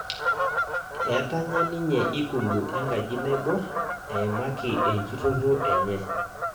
Etanya ninye ikulu enkaji naibor eimaki enjtoto enye